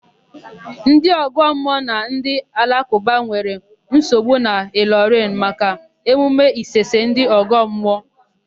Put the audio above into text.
Ndị ọgọmmụọ na ndị alakụba nwere nsogbu n'Ịlọrịn maka emume Isese ndị ọgọmmụọ.